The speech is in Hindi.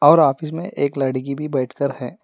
और ऑफिस में एक लड़की भी बैठकर है।